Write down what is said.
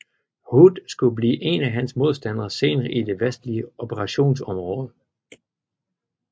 Hood skulle blive en af hans modstandere senere i det vestlige operationsområde